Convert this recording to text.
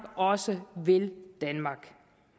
også vil danmark